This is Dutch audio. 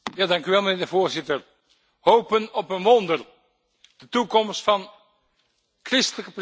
Hopen op een wonder de toekomst van christelijke presentie in Irak.